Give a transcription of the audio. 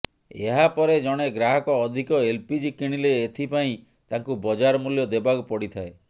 ଏହାପରେ ଜଣେ ଗ୍ରାହକ ଅଧିକ ଏଲ୍ପିଜି କିଣିଲେ ଏଥିପାଇଁ ତାଙ୍କୁ ବଜାର ମୂଲ୍ୟ ଦେବାକୁ ପଡ଼ିଥାଏ